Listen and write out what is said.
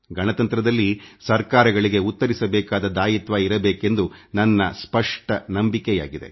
ಗಣತಂತ್ರದಲ್ಲಿ ಸರ್ಕಾರಗಳಿಗೆ ಉತ್ತರಿಸಬೇಕಾದ ಹೊಣೆಗಾರಿಕೆ ಇರಬೇಕೆಂಬುದು ನನ್ನ ಅಚಲ ನಂಬಿಕೆಯಾಗಿದೆ